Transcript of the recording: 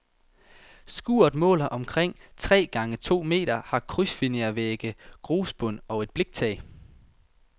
Skuret måler omkring tre gange to meter, har krydsfinervægge, grusbund og et bliktag.